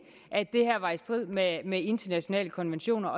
at det her var i strid med med internationale konventioner